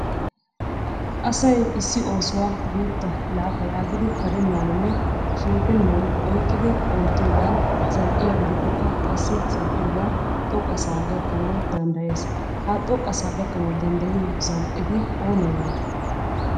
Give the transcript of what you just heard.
Asay issi oosuwa guutta laafa yaagidi karennaaninne. shenetennan oyqqidi oottiyogan zal"iya gidikkokka qassi zal"iyogan xoqqasaa gakkanawu danddayees. Ha xoqqasaa gakkanawu danddayiyo zal"eti aybee aybee?